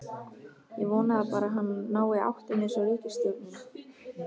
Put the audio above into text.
Ég vona bara að hann nái áttum einsog ríkisstjórnin.